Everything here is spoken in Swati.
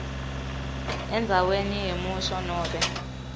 endzaweni yemusho nobe